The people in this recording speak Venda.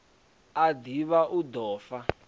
a ḓivha hu ḓo fa